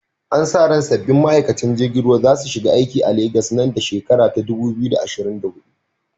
Ana sa ran sabbin ma’aikatan jirgin ruwa za su shiga aikin a Legas nan da shekarar 2024.